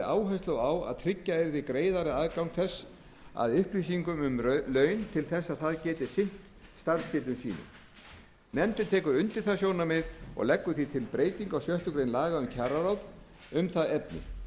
áherslu á að tryggja yrði greiðari aðgang þess að upplýsingum um laun til að það gæti sinnt starfsskyldum sínum nefndin tekur undir það sjónarmið og leggur því til breytingu á sjöttu grein laga um kjararáð um það efni nefndin